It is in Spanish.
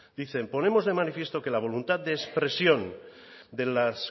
dicen ponemos de manifiesto que la voluntad de expresión de las